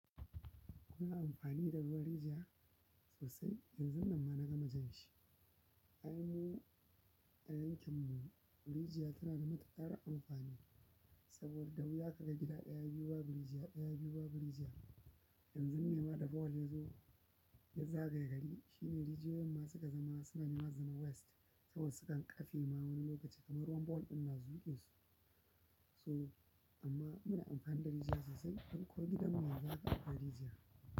Kuna amfani da ruwan rijiya sosai? Yanzun nan ma na ga ma jan shi. A yankin mu, a yankin mu, rijiya tana da matuƙar amfani saboda wuya ka ga gida ɗaya biyu ba bu rijiya, ɗaya biyu ba bu rijiya. Yanzun nema da bohol ya zo ya zagaye gari shine rijiyoyin masu gazama suna nema zama west saboda sukan ƙafe ma wani lokaci kamar ruwan bohol ɗin na zuƙe su. A yankin mu, a yankin mu, rijiya tana da matuƙar amfani saboda wuya ka ga gida ɗaya biyu ba bu rijiya, ɗaya biyu ba rijiya.